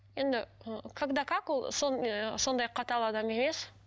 енді ы когда как ол ыыы сондай қатал адам емес